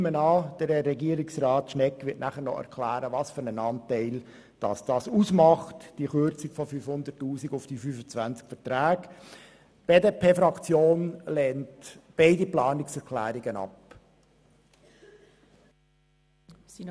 Ich nehme an, Regierungsrat Schnegg wird dann noch erklären, welchen Anteil diese Kürzung um 500 000 Franken auf die 25 Verträge ausmacht.